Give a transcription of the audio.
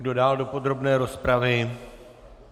Kdo dál do podrobné rozpravy?